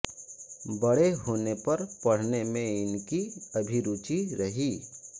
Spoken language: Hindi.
बड़े होने पर पढ़ने में इनकी अभिरुचि रही